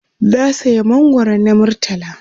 na saya mangwaro na murtala